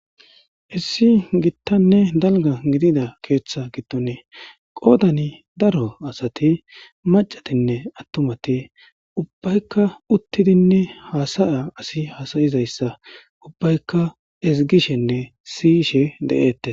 issi gittanne dalga gidida keeththa gidone qoodani daro asati macatinne attumati ubbaykka uttidinne haasaya asi hasayizayssa ubbaykka izgishenne siyishe de7eette